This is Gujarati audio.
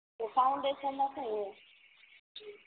તો ફાઉંડેસન માં સુ હોય